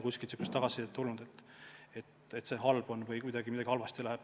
Kuskilt ei ole tulnud tagasisidet, et see on halb, et kardetakse, et midagi läheb halvasti.